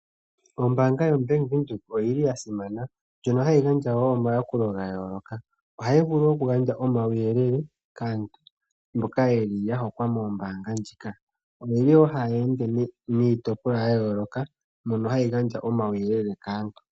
Ombanga yo Bank Windhoek oyili yasimana ndjono hayi gandja omayakulo gayoloka, ohayi vulu wo okugandja omauyelele kaantu mboka yeli yahokwa moombanga ndjika. oyeli wo haye nde niitipolwa yayoloka mono hayi gandja omauyelele kaantu.